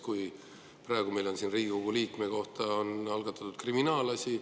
Näiteks praegu meil on siin Riigikogu liikme kohta algatatud kriminaalasi.